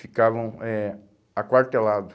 Ficavam eh aquartelado.